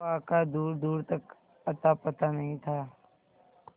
हवा का दूरदूर तक अतापता नहीं था